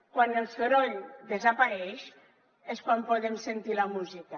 quan el soroll desapareix és quan podem sentir la música